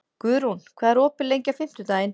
Guðrún, hvað er opið lengi á fimmtudaginn?